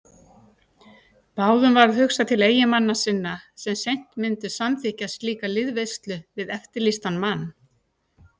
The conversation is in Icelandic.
Báðum varð hugsað til eiginmanna sinna sem seint myndu samþykkja slíka liðveislu við eftirlýstan mann.